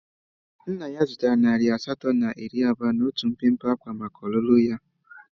Nna ya zụtara nari asatọ na iri abụọ na otu mpempe ákwá maka ọlụlụ ya.